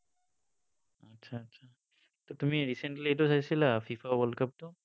আচ্ছা, আচ্ছা, ত তুমি এইটো চাইছিলা, FIFA world cup টো?